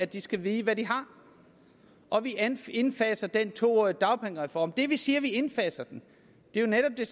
de skal vide hvad de har og vi indfaser den to årige dagpengereform det vi siger at vi indfaser den er netop